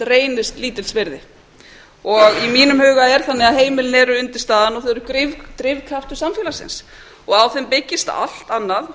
reynist lítils virði í mínum huga er það þannig að heimilin eru undirstaðan og þau eru drifkraftur samfélagsins og á þeim byggist allt annað án þeirra verður eins